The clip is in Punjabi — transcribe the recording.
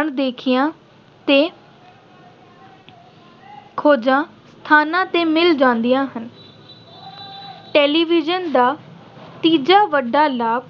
ਅਣਦੇਖੀਆਂ ਤੇ ਖੋਜਾਂ ਸਥਾਨਾਂ ਤੇ ਮਿਲ ਜਾਂਦੀਆਂ ਹਨ। television ਦਾ ਤੀਜਾ ਵੱਡਾ ਲਾਭ